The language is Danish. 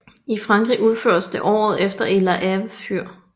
I Frankrig indførtes det året efter i La Hève Fyr